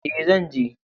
E, zan je.